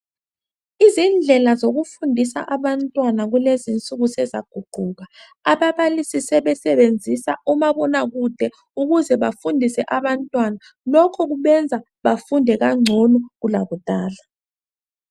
izindlela zokufundisa abantwana kulezinsuku sezaguquka ababalisi sebesebenzisa umabona kude ukuze bafundise abantwana lokhu kubenza bafunde kancono kulakudala